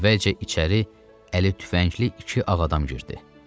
Əvvəlcə içəri əli tüfəngli iki ağadam girdi.